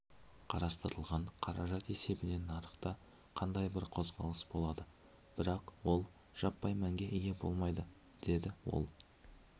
қарастырылған қаражат есебінен нарықта қандай бір қозғалыс болады бірақ ол жаппай мәнге ие болмайды деді ол